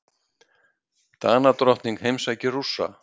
Danadrottning heimsækir Rússa